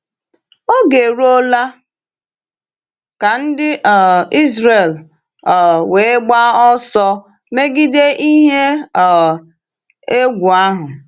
Oge eruola ka ndị um Ịzrel um wee gbaa ọsọ megide ihe um egwu ahụ.